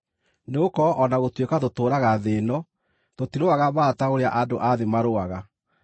Nĩgũkorwo o na gũtuĩka tũtũũraga thĩ ĩno, tũtirũaga mbaara ta ũrĩa andũ a thĩ marũaga.